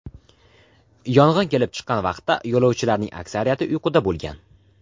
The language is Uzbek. Yong‘in kelib chiqqan vaqtda yo‘lovchilarning aksariyati uyquda bo‘lgan .